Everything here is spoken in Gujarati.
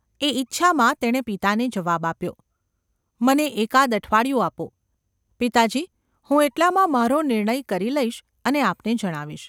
એ ઇચ્છામાં તેણે પિતાને જવાબ આપ્યો : ‘મને એકાદ અઠવાડિયું આપો, પિતાજી હું એટલામાં મારો નિર્ણય કરી લઈશ અને આપને જણાવીશ.